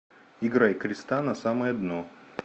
играй креста на самое дно